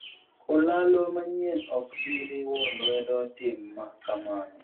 olalo manyien ok bi riwo lwedo tim ma kamano